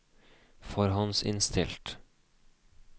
forhåndsinnstilt